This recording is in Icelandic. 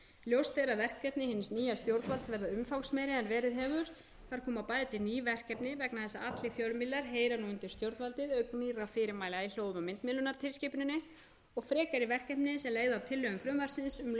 ljóst er að verkefni hins nýja stjórnvalds verða umfangsmeiri en verið hefur þar koma bæði til ný verkefni vegna þess að allir fjölmiðlar heyra nú undir stjórnvaldið auk nýrra fyrirmæla í hljóð og myndmiðlunartilskipuninni og frekari verkefni sem leiðir af tillögum frumvarpsins um lögfestingu